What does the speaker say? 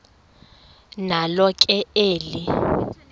nalo ke eli